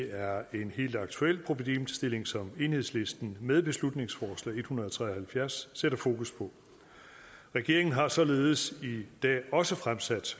er en helt aktuel problemstilling som enhedslisten med beslutningsforslag hundrede og tre og halvfjerds sætter fokus på regeringen har således i dag også fremsat